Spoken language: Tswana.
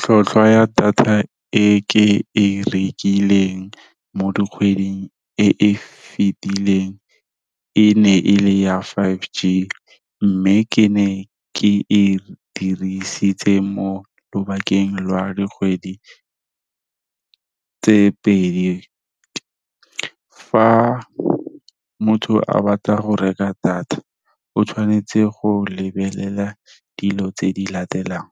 Tlhotlhwa ya data e ke e rekileng mo dikgweding e e fetileng e ne e le ya five g, mme ke ne ke e dirisitse mo lobakeng lwa dikgwedi tse pedi, fa motho a batla go reka data, o tshwanetse go lebelela dilo tse di latelang,